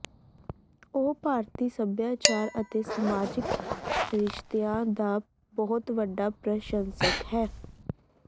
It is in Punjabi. ਉਹ ਭਾਰਤੀ ਸੱਭਿਆਚਾਰ ਅਤੇ ਸਮਾਜਿਕ ਰਿਸ਼ਤਿਆਂ ਦਾ ਬਹੁਤ ਵੱਡਾ ਪ੍ਰਸ਼ੰਸਕ ਹੈ